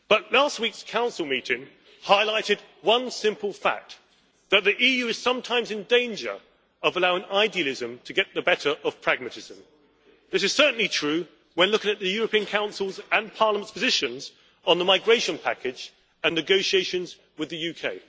Last week's Council meeting highlighted one simple fact that the EU is sometimes in danger of allowing idealism to get the better of pragmatism. This is certainly true when looking at the European Council's and Parliament's positions on the migration package and negotiations with the UK.